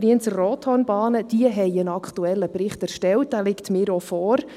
Die Brienz-Rothorn-Bahn hat einen aktuellen Bericht erstellt, der mir auch vorliegt.